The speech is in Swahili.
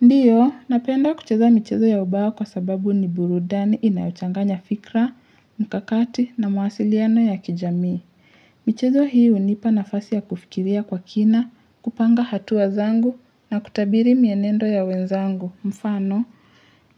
Ndiyo, napenda kucheza michezo ya ubawa kwa sababu ni burudani inayochanganya fikra, mkakati na mawasiliano ya kijami. Michezo hii unipa nafasi ya kufikiria kwa kina, kupanga hatua zangu na kutabiri mienendo ya wenzangu. Mfano,